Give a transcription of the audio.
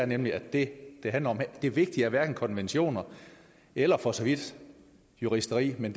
nemlig det det handler om her det vigtige er hverken konventioner eller for så vidt juristeri men